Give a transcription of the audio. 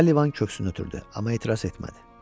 Sullivan köksünü ötürdü, amma etiraz etmədi.